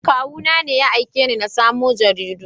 Kawuna ne ya aiko ni in samo jaridu.